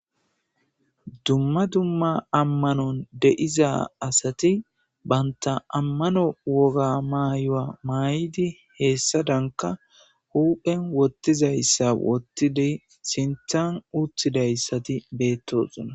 Dumma dumma ammanon de'iza asati banta ammano woga maayuwa may'idi heessadankka huphphen wottida iza wottidi sintan uttida asati beettosonna.